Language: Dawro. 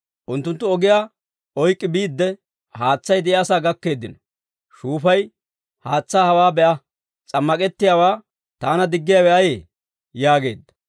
Unttunttu ogiyaa oyk'k'i biidde, haatsay de'iyaasaa gakkeeddino; shuufay, «Haatsaa hawaa be'a; s'ammak'ettiyaawaa taana diggiyaawe ayee?» yaageedda.